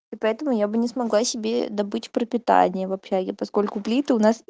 и поэтому я бы не смогла себе добыть пропитание в общаге поскольку плиты у нас